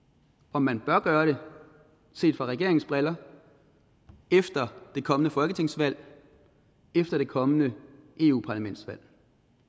om man bør gøre det set med regeringens briller efter det kommende folketingsvalg efter det kommende eu parlamentsvalg